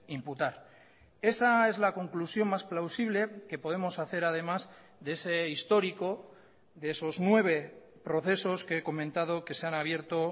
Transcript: imputar esa es la conclusión más plausible que podemos hacer además de ese histórico de esos nueve procesos que he comentado que se han abierto